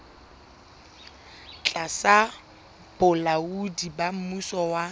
tlasa bolaodi ba mmuso wa